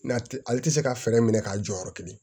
N'a tɛ ale tɛ se ka fɛɛrɛ minɛ k'a jɔyɔrɔ kelen